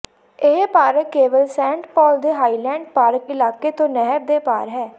ਇਹ ਪਾਰਕ ਕੇਵਲ Saint Paul ਦੇ ਹਾਈਲੈਂਡ ਪਾਰਕ ਇਲਾਕੇ ਤੋਂ ਨਹਿਰ ਦੇ ਪਾਰ ਹੈ